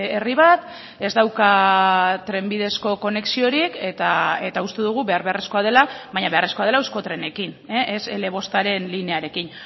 herri bat ez dauka trenbidezko konexiorik eta uste dugu behar beharrezkoa dela baina beharrezkoa dela euskotrenekin ez ele bostaren linearekin